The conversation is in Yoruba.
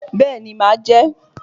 Béeni, máa jẹ́